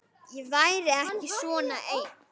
Ég væri ekki svona ein.